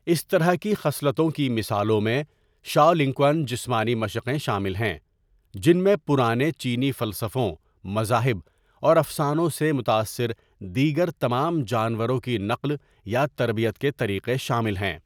اس طرح کی خصلتوں کی مثالوں میں شاولنکوان جسمانی مشقیں شامل ہیں جن میں پرانے چینی فلسفوں، مذاہب اور افسانوں سے متاثر دیگر تمام جانوروں کی نقل یا تربیت کے طریقے شامل ہیں۔